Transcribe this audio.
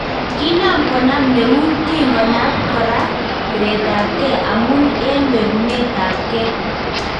Kinam konam neut kikonap kora piretapnge amun en wekunetap nge .